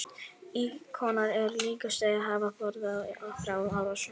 Íkonar eru líka sagðir hafa forðað frá árásum.